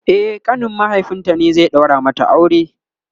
e ƙanin mahaifinta ne zai daura mata aure